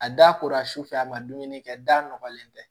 A da kora sufɛ a ma dumuni kɛ da nɔgɔlen tɛ